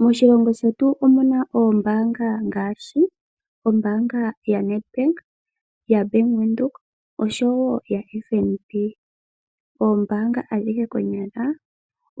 Moshilongo shetu omuna oombaanga ngaashi ombaanga ya NEDBank ,ya Bank Windhoek osho woo ya FNB. Oombaanga ohadhihe konyala